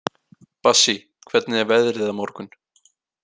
Bassí, hvernig er veðrið á morgun?